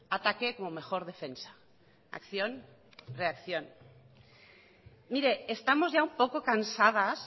ataque como mejor defensa acción reacción mire estamos ya un poco cansadas